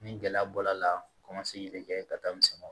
Ni gɛlɛya bɔr'a la kɔmasegi de kɛ ka taa misɛn